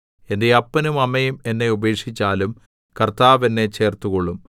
എന്റെ അപ്പനും അമ്മയും എന്നെ ഉപേക്ഷിച്ചാലും കർത്താവ് എന്നെ ചേർത്തുകൊള്ളും